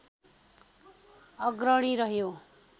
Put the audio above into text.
अग्रणी रह्यो